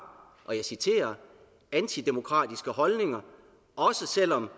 og jeg citerer antidemokratiske holdninger også selvom